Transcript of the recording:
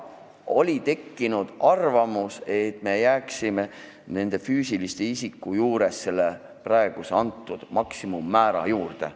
Oli tekkinud arvamus, et füüsiliste isikute puhul võiks jääda pakutud maksimummäära juurde.